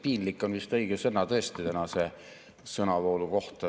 "Piinlik" on vist õige sõna tänase sõnavoolu kohta.